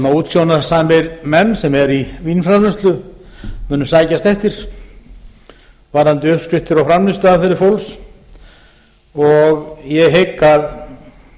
útsjónarsamir menn sem eru í vínframleiðslu munu sækjast eftir varðandi uppskriftir og framleiðsluaðferðir fólks ég hygg að